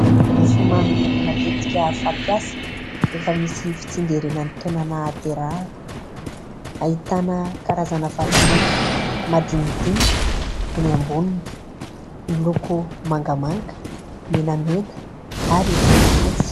Mofomamy matetika fapiasa rehefa misy fitsingerenan'ny taona nahaterahana. Ahitana karazana vatomamy madinidinika eo amboniny. Miloko menamena, mangamanga ary fotsifotsy.